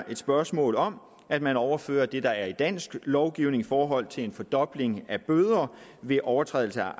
et spørgsmål om at man overfører det der er i dansk lovgivning i forhold til en fordobling af bøder ved overtrædelse af